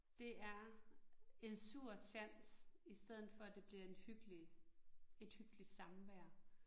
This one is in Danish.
Det er, en sur tjans i stedet for det bliver en hyggelig, et hyggeligt samvær